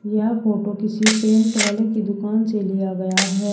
यह फोटो किसी पेंट वाले की दुकान से लिया गया है।